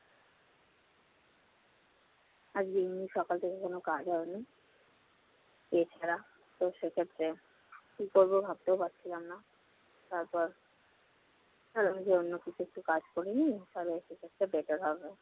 আজকে এমনি সকাল থেকে কোন কাজ হয়নি এছাড়া তো সেক্ষেত্রে কি করবো ভাবতেও পারছিলাম না। তারপর ভাবলাম যে অন্য কিছু একটা কাজ করে নিই তাহলে সেক্ষেত্রে better হবে।